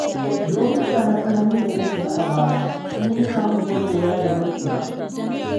Lokuta na tsanani da na shiga a baya sun nuna mun masoya da maƙiya.